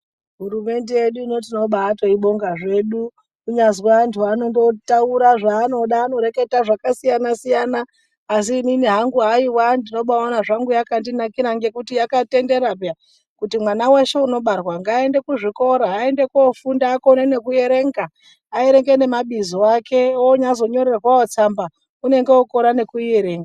Hurumende yedu ino tinobaitoibonga zvedu kunyazi antu anondotaura zvaanoda anoreketa zvakasiyana siyana asi inini hangu haiwa ndinobaona zvaangu yakandinakira ngekuti yakatendera peya kuti mwana weshe unobarwa ngaende kuzvikora aende kofunda akone nekuerenga aerenge nemabizo ake onyazonyorerwawo tsamba unonga ukone nekuierenga.